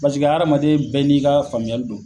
Paseke adamaden bɛɛ n'i ka faamuyali don